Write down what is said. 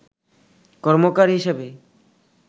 কর্মকার হিসাবে